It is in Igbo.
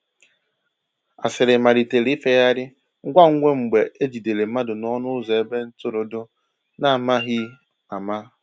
Asịrị malitere ifeyari ngwa ngwa mgbe e jidere mmadụ n’ọnụ ụzọ ebe ntụrụndụ, n’amaghị ama.